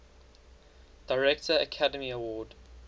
director academy award